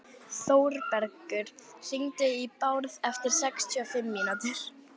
Þórbergur, hringdu í Bárð eftir sextíu og fimm mínútur.